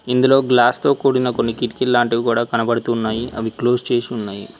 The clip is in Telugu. ఇందులో గ్లాస్తో కూడిన కొన్ని కిటికీ లాంటివి కూడా కనబడుతున్నాయి అవి క్లోజ్ చేసి ఉన్నాయి.